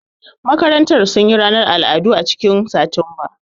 Makarantar sun yi ranar al'adu a cikin Satumba